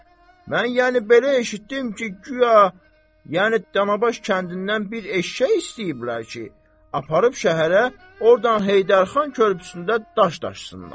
Mən yəni belə eşitdim ki, guya, yəni Danabaş kəndindən bir eşşək istəyiblər ki, aparıb şəhərə, ordan Heydər xan körpüsündə daş daşısınlar.